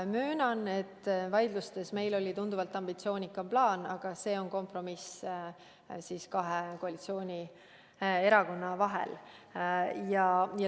Möönan, et vaidlustes meil oli tunduvalt ambitsioonikam plaan, aga see on kompromiss kahe koalitsioonierakonna vahel.